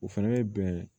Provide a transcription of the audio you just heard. O fɛnɛ ye bɛn